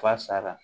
Fa sara